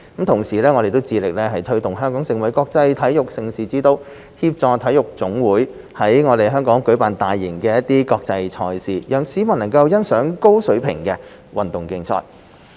同時，我們致力推動香港成為國際體育盛事之都，協助體育總會在香港舉辦大型國際賽事，讓市民觀賞高水平的運動競賽。